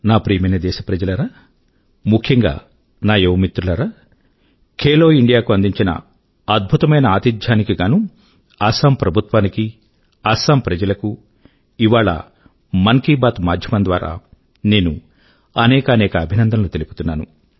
నా ప్రియమైన దేశ ప్రజలారా ముఖ్యం గా నా యువ మిత్రులారా ఖేలో ఇండియా కు అందించిన అద్భుతమైన ఆతిథ్యాని కి గానూ అసమ్ ప్రభుత్వాని కీ అసమ్ ప్రజల కూ ఇవాళ మన్ కీ బాత్ మాధ్యమం ద్వారా నేను అనేకానేక అభినందనలు తెలుపుతున్నాను